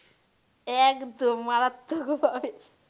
একদম মারাত্মক ভাবে